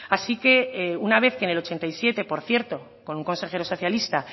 así que una vez que en mil novecientos ochenta y siete por cierto con un consejero socialista